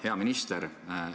Hea minister!